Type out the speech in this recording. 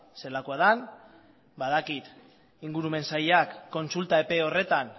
zelakoa den badakit ingurumen sailak kontsulta epe horretan